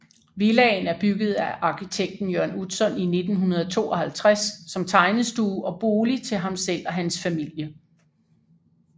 Villaen er bygget af arkitekten Jørn Utzon i 1952 som tegnestue og bolig til ham selv og hans familie